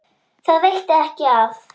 Það veitti ekki af.